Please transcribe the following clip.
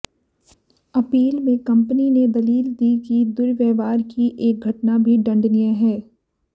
appeal में company ने दलील दी कि दुव्र्यवहार की एक घटना भी दंडनीय है